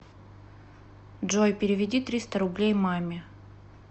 джой переведи триста рублей маме